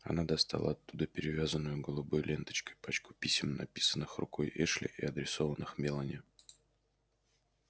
она достала оттуда перевязанную голубой ленточкой пачку писем написанных рукой эшли и адресованных мелани